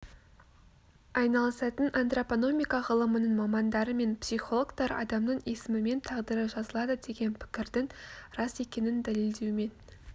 айналысатын антропономика ғылымының мамандары мен психологтар адамның есімімен тағдыры жазылады деген пікірдің рас екенін дәлелдеумен